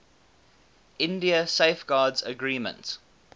india safeguards agreement